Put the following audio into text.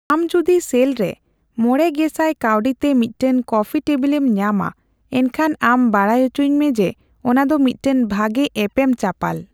ᱟᱢ ᱡᱚᱫᱤ ᱥᱮᱞ ᱨᱮ ᱢᱚᱲᱮ ᱜᱮᱥᱟᱭ ᱠᱟᱣᱰᱤ ᱛᱮ ᱢᱤᱫᱴᱟᱝ ᱠᱚᱯᱷᱤ ᱴᱮᱵᱤᱞᱮᱢ ᱧᱟᱢᱟ, ᱮᱱᱠᱷᱟᱱ ᱟᱢ ᱵᱟᱰᱟᱭ ᱚᱪᱚᱧᱢᱮ ᱡᱮ ᱚᱱᱟ ᱫᱚ ᱢᱤᱫᱴᱟᱝ ᱵᱷᱟᱜᱮ ᱮᱯᱮᱢᱪᱟᱯᱟᱞ ᱾